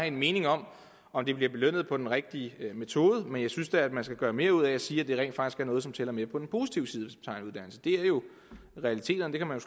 en mening om om det bliver belønnet på den rigtige måde men jeg synes da man skal gøre mere ud af at sige at det rent faktisk er noget som tæller med på den positive side tager en uddannelse det er jo realiteterne man